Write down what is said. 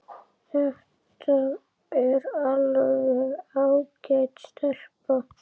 Þetta er alveg ágæt stelpa.